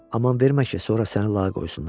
Aman vermə ki, sonra səni lağa qoysunlar.